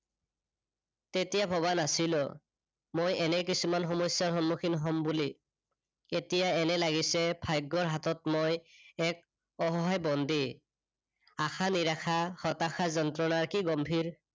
তেতিয়া ভবা নাছিলো। মই এনে কিছুমান সমস্যাৰ সন্মুখীন হম বুলি। এতিয়া এনে লাগিছে ভাগ্যৰ হাতত মই এক অসহায় বন্দী। আশা-নিৰাশা, হতাশা-যন্ত্ৰনা কি গম্ভীৰ